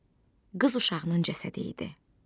Bu qız uşağının cəsədi idi.